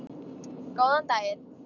Góðan daginn.